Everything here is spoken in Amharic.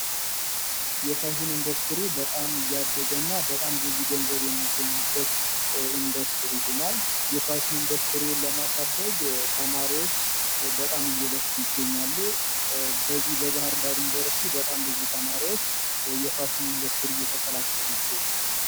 የፋሽን ኢንዱስትሪ በጣም እያደገ እና በጣም ብዙ ገንዘብ የሚገኝበት ኢንደስትሪ ሆኗል። የፋሽን ኢንዱስትሪውን ለማሳደግ ተማሪዎች በጣም እየለፉ ይገኛሉ። በዚህ በባህር ዳር ዩኒቨርስቲ በጣም ብዙ ተማሪዎች የፋሽኑን ኢንደስትሪ እየተቀላቀሉ ይገኛሉ።